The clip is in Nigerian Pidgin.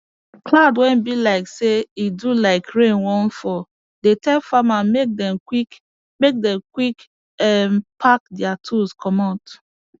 cloud wey be like say e do like rain wan fall dey tell farmer make them quick make them quick um pack their tools commot